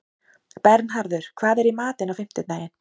Bernharður, hvað er í matinn á fimmtudaginn?